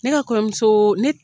Ne ka kɔɲɔmuso ne